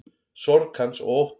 Sorg hans og ótti.